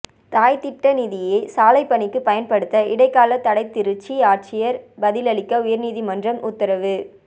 தாய்த் திட்ட நிதியை சாலைப்பணிக்கு பயன்படுத்த இடைக்காலத் தடைதிருச்சி ஆட்சியா் பதிலளிக்க உயா்நீதிமன்றம் உத்தரவு